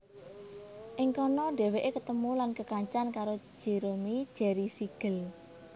Ing kana dhèwèké ketemu lan kekancan karo Jerome Jerry Siegel